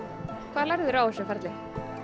hvað lærðiru á þessu ferli